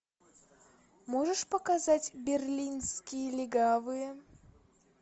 можешь показать берлинские легавые